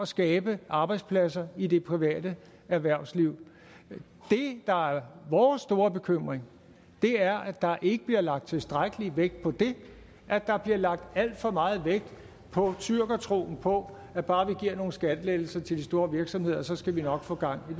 skabe arbejdspladser i det private erhvervsliv det der er vores store bekymring er at der ikke bliver lagt tilstrækkelig vægt på det at der bliver lagt alt for meget vægt på tyrkertroen på at bare vi giver nogle skattelettelser til de store virksomheder så skal vi nok få gang